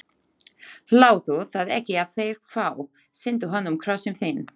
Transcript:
Láttu það ekki á þig fá: sýndu honum Krossinn þinn.